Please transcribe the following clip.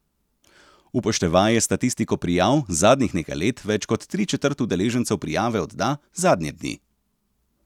Upoštevaje statistiko prijav, zadnjih nekaj let več kot tričetrt udeležencev prijave odda zadnje dni.